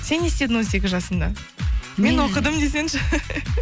сен не істедің он сегіз жасыңда мен оқыдым десеңші